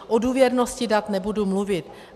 O důvěrnosti dat nebudu mluvit.